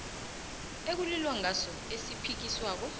ekulilwa ngaso esiphikiswako